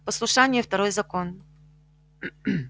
послушание второй закон